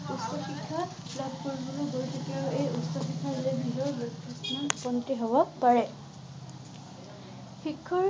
উচ্চ শিক্ষা লাভ কৰিবলৈ গৈ থাকে আৰু উচ্চ শিক্ষা হব পাৰে। শিক্ষাৰ